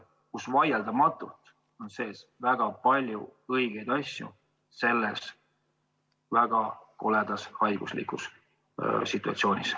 Selles on vaieldamatult väga palju õigeid abinõusid selles väga koledas haigussituatsioonis.